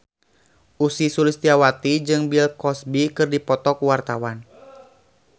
Ussy Sulistyawati jeung Bill Cosby keur dipoto ku wartawan